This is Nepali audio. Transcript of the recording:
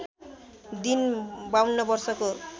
दिन ५२ वर्षको